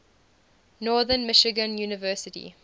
northern michigan university